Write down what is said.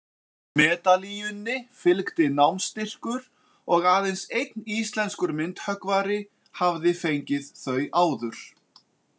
Medalíunni fylgdi námsstyrkur, og aðeins einn íslenskur myndhöggvari hafði fengið þau áður.